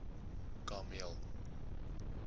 kameel